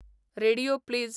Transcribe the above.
radio please